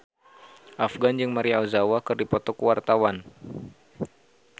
Afgan jeung Maria Ozawa keur dipoto ku wartawan